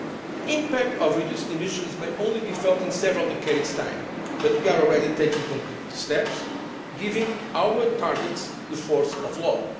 The impact of reduced emissions may only be felt in several decades' time, but we are already taking concrete steps, giving our targets the force of law.